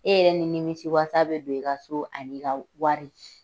E yɛrɛ ni nimisi wasa bɛ don, i ka so ani ka wari.